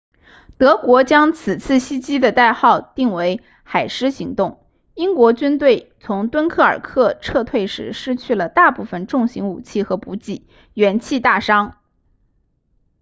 德国将此次袭击的代号定为海狮行动英国军队从敦刻尔克撤退时失去了大部分重型武器和补给元气大伤